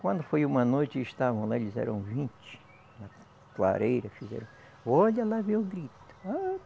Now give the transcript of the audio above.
Quando foi uma noite e estavam lá, eles eram vinte, na clareira, fizeram... Olha lá, veio o grito.